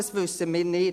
Wir wissen es nicht.